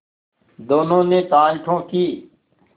दोनों ने ताल ठोंकी